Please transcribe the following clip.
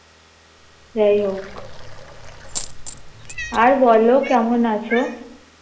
যাইহোক আর বলো কেমন আছো?